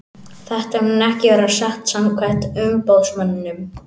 Þetta mun ekki vera satt samkvæmt umboðsmanninum.